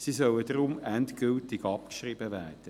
Sie sollen deshalb endgültig abgeschrieben werden.